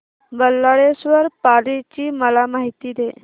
बल्लाळेश्वर पाली ची मला माहिती दे